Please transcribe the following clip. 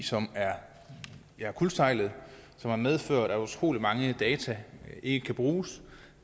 som er kuldsejlet som har medført at utrolig mange data ikke kan bruges